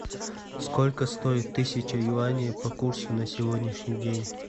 сколько стоит тысяча юаней по курсу на сегодняшний день